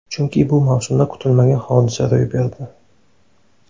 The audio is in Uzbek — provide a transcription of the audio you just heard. Chunki bu mavsumda kutilmagan hodisa ro‘y berdi.